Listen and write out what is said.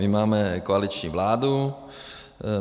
My máme koaliční vládu.